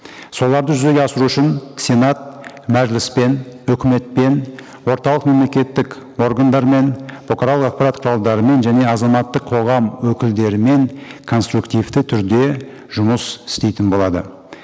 соларды жүзеге асыру үшін сенат мәжіліспен өкіметпен орталық мемлекеттік органдармен бұқаралық ақпарат құралдарымен және азаматтық қоғам өкілдерімен конструктивті түрде жұмыс істейтін болады